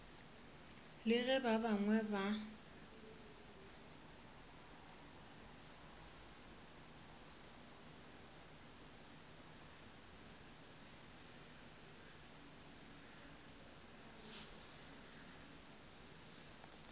le ge ba bangwe ba